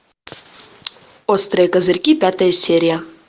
острые козырьки пятая серия